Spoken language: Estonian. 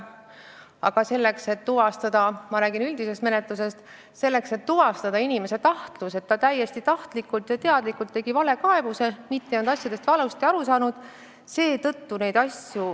Kuid kui rääkida sellest, et on vaja tuvastada – ma räägin üldisest menetlusest – inimese tahtlust, et ta täiesti tahtlikult ja teadlikult esitas valekaebuse, mitte ei olnud asjadest valesti aru saanud, siis seda on raske tõendada.